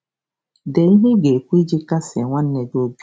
Dee ihe ị ga-ekwu iji kasie nwanne gị obi.